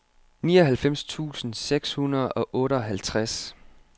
nioghalvfems tusind seks hundrede og otteoghalvtreds